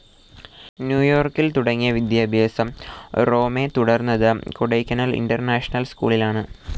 New യോർക്കിൽ തുടങ്ങിയ വിദ്യാഭ്യാസം റോമെ തുടർന്നത് കൊടൈക്കനാൽ ഇന്റർനാഷണൽ സ്കൂളിലാണ്.